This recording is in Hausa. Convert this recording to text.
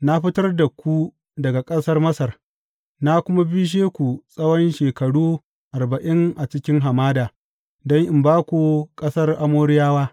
Na fitar da ku daga ƙasar Masar, na kuma bishe ku tsawon shekaru arba’in a cikin hamada don in ba ku ƙasar Amoriyawa.